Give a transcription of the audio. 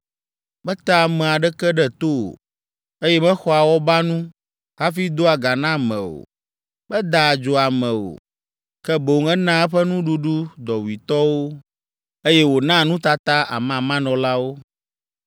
Metea ame aɖeke ɖe to o, eye mexɔa awɔbanu hafi doa ga na ame o. Medaa adzo ame o, ke boŋ enaa eƒe nuɖuɖu dɔwuitɔwo, eye wònaa nutata amamanɔlawo.